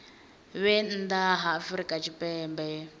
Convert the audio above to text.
vhe nnḓa ha afrika tshipembe